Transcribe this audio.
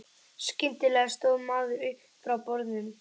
Skyndilega stóð maðurinn upp frá borðum.